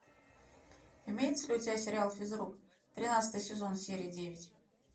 имеется ли у тебя сериал физрук тринадцатый сезон серия девять